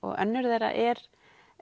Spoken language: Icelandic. önnur þeirra er